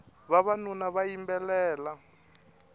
vavanuna va yimbelela